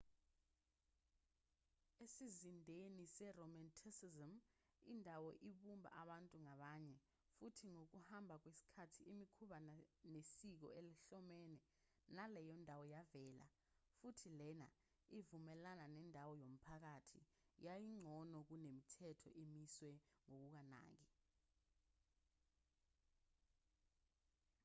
esizindeni seromanticism indawo ibumba abantu ngabanye futhi ngokuhamba kwesikhathi imikhuba nesiko ehlobene naleyo ndawo yavela futhi lena ivumelana nendawo yomphakathi yayingcono kunemithetho emiswe ngokunganaki